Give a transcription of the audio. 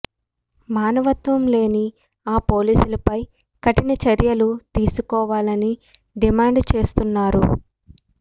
మానవత్వం లేని ఆ పోలీసులపై కఠిన చర్యలు తీసుకోవాలని డిమాండ్ చేస్తున్నారు